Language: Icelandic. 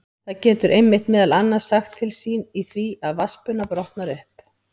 Það getur einmitt meðal annars sagt til sín í því að vatnsbuna brotnar upp.